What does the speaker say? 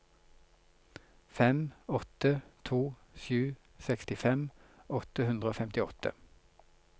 fem åtte to sju sekstifem åtte hundre og femtiåtte